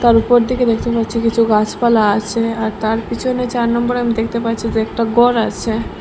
তার উপর দিকে দেখতে পাচ্ছি কিছু গাছপালা আছে আর তার পিছনে চার নম্বরে আমি দেখতে পাচ্ছি যে একটা গর আছে।